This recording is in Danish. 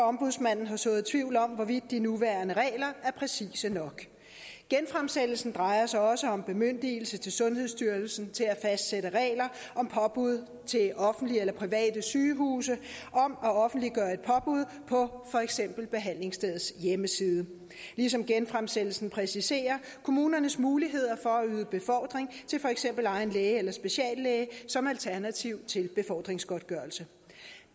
ombudsmanden har sået tvivl om hvorvidt de nuværende regler er præcise nok genfremsættelsen drejer sig også om bemyndigelse til sundhedsstyrelsen til at fastsætte regler om påbud til offentlige eller private sygehuse om at offentliggøre et påbud på for eksempel behandlingsstedets hjemmeside ligesom genfremsættelsen præciserer kommunernes muligheder for at yde befordring til for eksempel egen læge eller speciallæge som et alternativ til befordringsgodtgørelse